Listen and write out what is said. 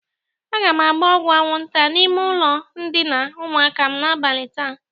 Aga m agba ọgwụ aṅwụnta n'ime ụlọ ndịna ụmụaka m n'abali taa.